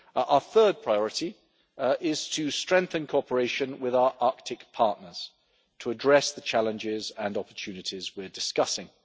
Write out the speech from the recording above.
Our third priority is to strengthen cooperation with our Arctic partners, to address the challenges and opportunities we are discussing.